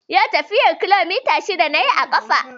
Yau tafiyar kilomita shida na yi a ƙafa